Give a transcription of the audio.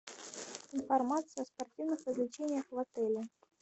информация о спортивных развлечениях в отеле